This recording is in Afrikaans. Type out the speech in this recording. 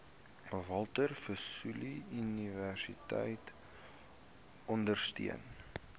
walter sisuluuniversiteit ondersteun